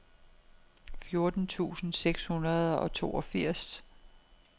fjorten tusind seks hundrede og toogfirs